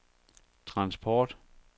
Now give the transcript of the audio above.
transport